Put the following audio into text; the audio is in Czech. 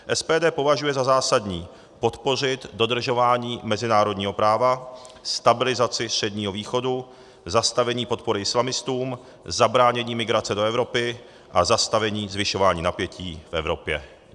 SPD považuje za zásadní podpořit dodržování mezinárodního práva, stabilizaci Středního východu, zastavení podpory islamistům, zabránění migrace do Evropy a zastavení zvyšování napětí v Evropě.